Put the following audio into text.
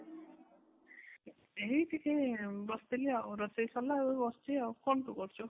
ଏଇ ଟିକେ ବସିଥିଲି ଆଉ ରୋଷରେଇ ସରିଲା ଏବେ ବସିଛି ଆଉ, କଣ ତୁ କରୁଛୁ?